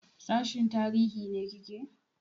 Sashin tarihi ne kike?